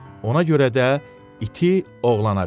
Ona görə də iti oğlana verdi.